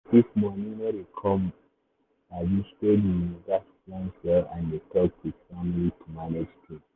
if money no dey come um steady you gats plan well and dey talk with family to manage things.